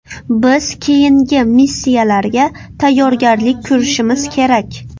Biz keyingi missiyalarga tayyorgarlik ko‘rishimiz kerak.